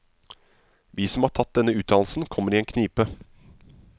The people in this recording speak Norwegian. Vi som har tatt denne utdannelsen kommer i en knipe.